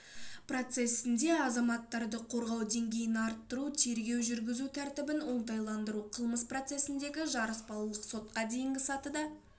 процесінде азаматтарды қорғау деңгейін арттыру тергеу жүргізу тәртібін оңтайландыру қылмыс процесіндегі жарыспалылық сотқа дейінгі сатыда